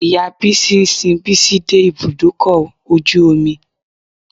Ìya Bísí sin Bísí dé ibùdókọ̀ ojú omi.